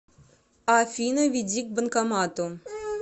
афина веди к банкомату